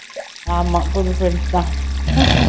ஆமா புது friends தான்